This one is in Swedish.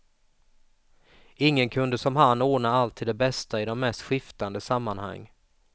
Ingen kunde som han ordna allt till det bästa i de mest skiftande sammanhang.